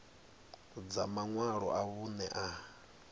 dza maṅwalo a vhuṋe a